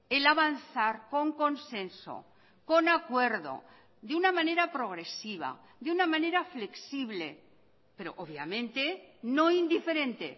el avanzar con consenso con acuerdo de una manera progresiva de una manera flexible pero obviamente no indiferente